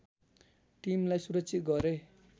टीमलाई सुरक्षित गरे